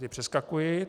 Ty přeskakuji.